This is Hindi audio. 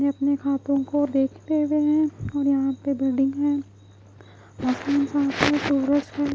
ये अपने हाथो को देखते हुए है और यहाँ पे बिल्डिंग है --